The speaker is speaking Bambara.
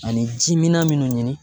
Ani ji minan minnu ɲini